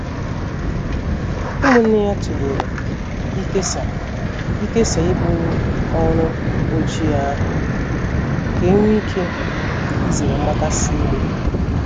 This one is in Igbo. Umunne ya tulere ikesaa ikesaa ibu ọrụ Ojii ahụ ka enwe ike izere mgbakasị iwe.